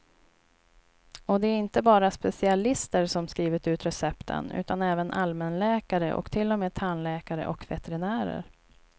Och det är inte bara specialister som skrivit ut recepten, utan även allmänläkare och till och med tandläkare och veterinärer.